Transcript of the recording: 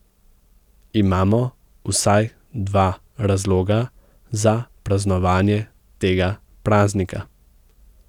Imamo vsaj dva razloga za praznovanje tega praznika.